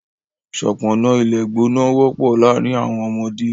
Ṣọpọnna ìlẹ̀gbọ̀nà wọpọ̀ laárìn awọn ọmọdé.